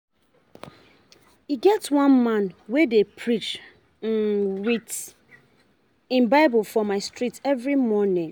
E get one man wey dey preach um wit him Bible for my street every morning.